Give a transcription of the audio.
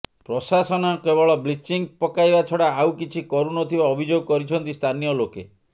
ପ୍ରଶାସନ କେବଳ ବ୍ଲିଚିଂ ପକାଇବା ଛଡା ଆଉ କିଛି କରୁନଥିବା ଅଭିଯୋଗ କରିଛନ୍ତି ସ୍ଥାନୀୟ ଲୋକେ